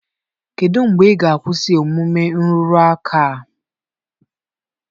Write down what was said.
Kedu mgbe ị ga-akwụsị omume nrụrụ aka a?